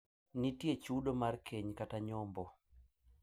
Nitie chudo mar keny kata nyombo.